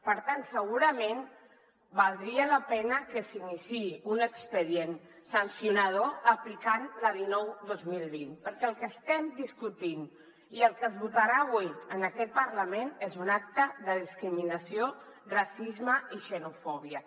per tant segurament valdria la pena que s’iniciï un expedient sancionador aplicant la dinou dos mil vint perquè el que estem discutint i el que es votarà avui en aquest parlament és un acte de discriminació racisme i xenofòbia